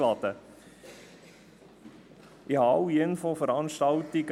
Ich besuchte alle Infoveranstaltungen;